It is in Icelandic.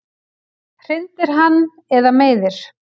Hrindir hann eða meiðir?